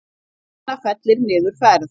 Norræna fellir niður ferð